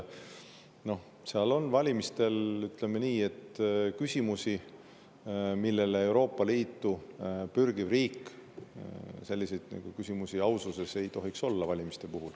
Seal on küsimusi, ütleme nii, ausate valimiste kohta, mida Euroopa Liitu pürgival riigil ei tohiks olla.